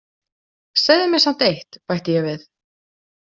Segðu mér samt eitt, bætti ég við.